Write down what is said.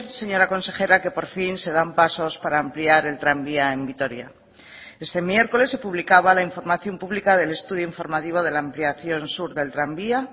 señora consejera que por fin se dan pasos para ampliar el tranvía en vitoria este miércoles se publicaba la información pública del estudio informativo de la ampliación sur del tranvía